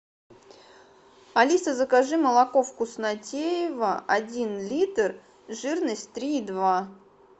алиса закажи молоко вкуснотеево один литр жирность три и два